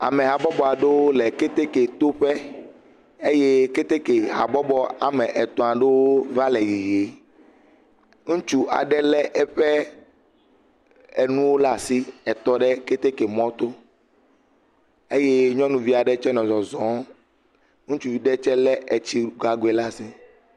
Ame habɔbɔa ɖowo le keteke to ƒe, eye keteke habɔbɔ ame etɔ̃a ɖowo va le yiyi, ŋutsu aɖe lé eƒe enuwo le asi etɔ ɖe keteke mɔ to, eye nyɔvia ɖe tse nɔ zɔzɔ, ŋutsuvi ɖe tse lé etsi gagoe le asi.